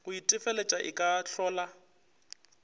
go itefeletša e ka hlola